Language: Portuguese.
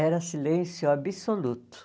Era silêncio absoluto.